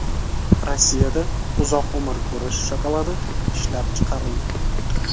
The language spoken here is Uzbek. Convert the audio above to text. Rossiyada uzoq umr ko‘rish shokoladi ishlab chiqarildi.